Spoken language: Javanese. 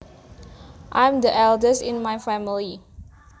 I am the eldest in my family